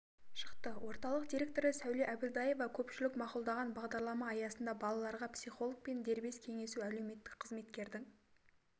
шықты орталықтың директоры сәуле әбілдаева көпшілік мақұлдаған бағдарлама аясында балаларға психологпен дербес кеңесу әлеуметтік қызметкердің